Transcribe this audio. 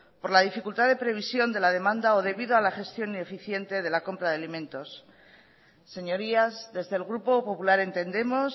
por la dificultad de previsión de la demanda o debido a la gestión ineficiente de la compra de alimentos señorías desde el grupo popular entendemos